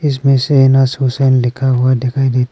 इसमें शहनाज हुसैन लिखा हुआ दिखाई देता--